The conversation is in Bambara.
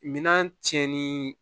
Minan cɛnni